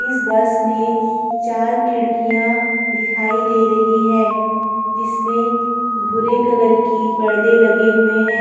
इस बस में चार खिड़कियां दिखाई दे रही हैं जिसमें भूरे कलर के पर्दे लगे हुए हैं।